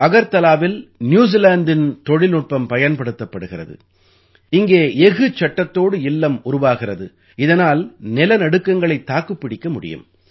அகர்தலாவில் ந்யூசீலாந்தின் தொழில்நுட்பம் பயன்படுத்தப்படுகிறது இங்கே எஃகுச் சட்டத்தோடு இல்லம் உருவாகிறது இதனால் நிலநடுக்கங்களைத் தாக்குப் பிடிக்க முடியும்